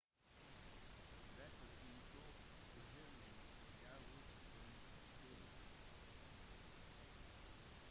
deretter inntok whirling dervishes scenen